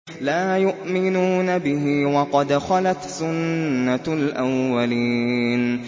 لَا يُؤْمِنُونَ بِهِ ۖ وَقَدْ خَلَتْ سُنَّةُ الْأَوَّلِينَ